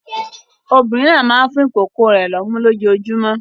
Obìnrin náà máa ń fún ìkókó rẹ̀ lọ́mú lójoojúmọ́.